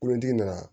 Kolontigi nana